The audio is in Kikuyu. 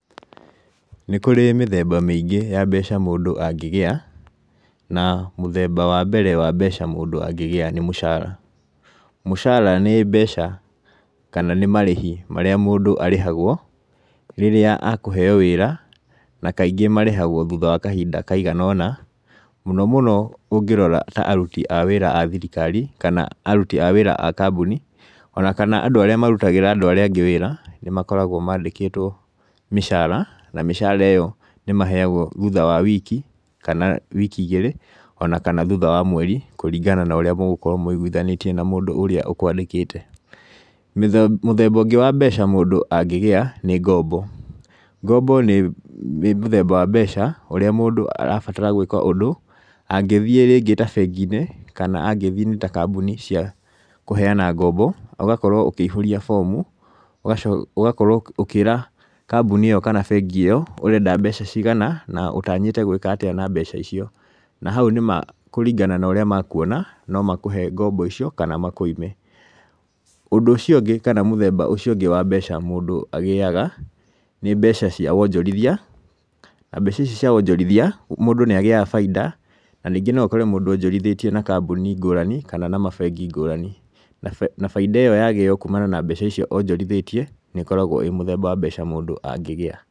Nĩkŭrĩ mĩtheba mĩingĩ ya mbeca mŭndŭ angĩgĩa, na mŭtheba wa mbere wa mbeca mŭndŭ angĩgĩa nĩ mŭcara. mŭcara nĩ mbeca, kana nĩ marĩhi marĩa mŭndŭ arĩhagwo, rĩrĩa akŭheo wĩĩra, na kaingĩ marĩhagwo thŭtha wa kahinda kaigana ona, mŭno mŭno ŭngĩrora ta arŭti a wĩĩra a thirikari kana arŭti a wĩĩra a kambŭni, ona kana andŭ arĩa marŭtagĩra andŭ arĩa angĩ wĩĩra nĩmakoragwo madĩkĩtwo mĩcara na mĩcara ĩyo nĩmaheagwo thŭtha wa wiki kana wiki igĩrĩ ona kana thŭtha wa mweri kŭringana na ŭrĩa mŭgŭkorwo maŭogwithanĩtiĩ na mŭndŭ ŭrĩa ŭkwadĩkĩte. Mŭtheba ŭrĩa ŭngĩ wa mbeca mŭndŭ angĩgĩa nĩ ngombo. ngombo nĩ mŭtheba wa mbeca ŭrĩa mŭndŭ arabatara gwĩka ŭndŭ ŭngĩthiĩ rĩngĩ ta benginĩ kana angĩthi ta kambŭni cia kŭheana ngombo ŭgakorwo ŭkĩihŭria bomŭ ŭgakorwo ŭkĩĩra kambŭni ĩyo kana bengi ĩyo ŭreda mbeca ciigana na ŭtanyĩte gwĩka atĩa na mbeca icio. Na haŭ nĩma kŭringana na ŭria makŭona nomakŭhe ngombo icio kana makŭime ŭndŭ ŭcio ŭngĩ kana mŭtheba ŭcio ŭngĩ wa mbeca mŭndŭ agĩaga nĩ mbeca cia wajorithia na mbeca ici cia wonjorithia nĩagĩaga baida na rĩngĩ no ŭkore mŭndŭ ojorithĩtie na kambŭni ngŭrani kana na mabengi ngŭrani na baida ĩyo yagĩo kŭŭmana na mbeca icio onjorithĩtie, nĩĩkoragwo ĩ mŭtheba wa mbeca mŭndŭ angĩgĩa.